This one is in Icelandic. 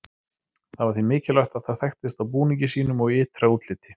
Það var því mikilvægt að það þekktist á búningi sínum og ytra útliti.